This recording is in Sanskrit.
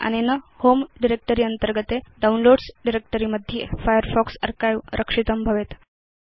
अनेन होमे डायरेक्ट्री अन्तर्गते डाउनलोड्स डायरेक्ट्री मध्ये फायरफॉक्स अर्चिवे रक्षितं भवेत्